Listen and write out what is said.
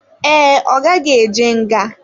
Ee, ọ gaghị eje nga.